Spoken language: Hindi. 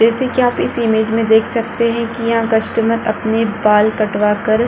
जैसे कि आप इस इमेज में देख सकते है कि यहाँ कस्टमर अपनी बाल कटवा कर --